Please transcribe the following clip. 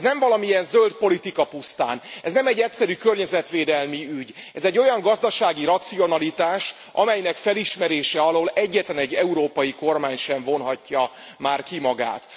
Ez nem valamilyen zöld politika pusztán, ez nem egy egyszerű környezetvédelmi ügy, ez egy olyan gazdasági racionalitás, amelynek felismerése alól egyetlenegy európai kormány sem vonhatja már ki magát.